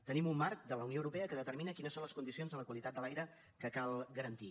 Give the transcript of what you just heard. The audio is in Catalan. tenim un marc de la unió europea que determina quines són les condicions de la qualitat de l’aire que cal garantir